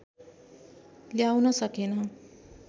ल्याउन सकेन